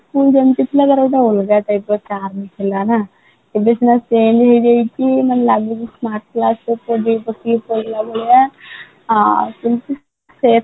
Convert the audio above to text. ଆଗରୁ ଯେମିତି ଥିଲା ତାର ଗୋଟେ ଅଲଗା type ର charm ଥିଲା ନା ଏବେ ସିନା change ହେଇଯାଇଛି ମାନେ ଲାଗୁଛି smart class projector ପକେଇକି ପଢେଇଲା ଭଳିଆ ଆଉ ଏମିତି